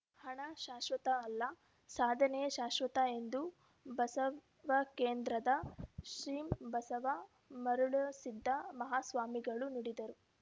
ಹಣ ಶಾಶ್ವತ ಅಲ್ಲ ಸಾಧನೆಯೇ ಶಾಶ್ವತ ಎಂದು ಬಸವಕೇಂದ್ರದ ಶ್ರೀ ಬಸವ ಮರುಳಸಿದ್ದ ಮಹಾಸ್ವಾಮಿಗಳು ನುಡಿದರು